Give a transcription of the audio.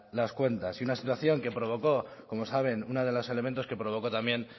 las cuentas y una situación que provocó como saben una de los elementos que provocó también